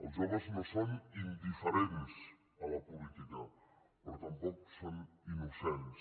els joves no són indiferents a la política però tampoc són innocents